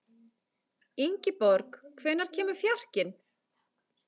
Ingiborg, hvenær kemur fjarkinn?